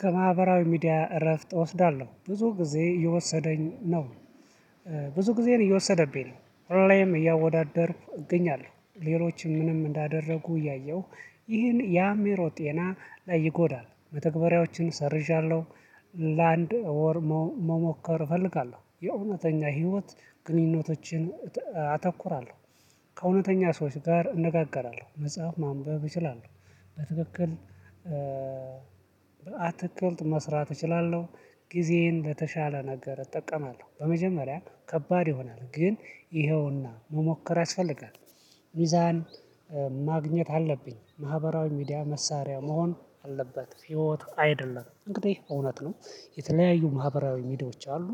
ከማህበራዊ ሚዲያ እረፍት እወስዳለው ብዙ ጊዜ የወሰደኝ ነው። ብዙ ጊዜ እየወሰደብኝ ነው ሁሌም እያወዳደርኩ እገኛለው ሌሎችም ምንም እንዳደረጉ እያየሁ ይህን ያአምአሮ ጤና ላይ ይጎዳል መተግበሪያዎችን ሰርዣለሁ ለአንድ ወር መሞከር እፈልጋለው። የእውነተኛ ህይወት ግንኙነቶችን አተኩራለው ከእውነተኛ ሰዎች ጋር እነጋገራለው መጽሐፍ ማንበብ እችላለው በትክክል አትክልት መስራት እችላለሁ ጊዜን ለተሻለ ነገር እጠቀማለሁ በመጀመሪያ ከባድ ይሆናል ግን ይኸውና መሞከር ያስፈልጋል ሚዛን ማግኘት አለብኝ ማህበራዊ ሚዲያ መሳሪያ መሆን አለበት ህይወት አይደለም እንግዲህ እውነት ነው የተለያዩ ማህበራዊ ሚዲያዎች አሉ።